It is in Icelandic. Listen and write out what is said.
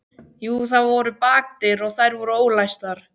Jú, það voru bakdyr og þær voru ólæstar.